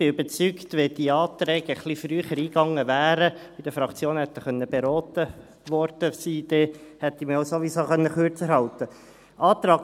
Ich bin überzeugt, wenn diese Anträge etwas früher eingegangen wären und in den Fraktionen hätten beraten werden können, hätte ich mich ja sowieso kürzer halten können.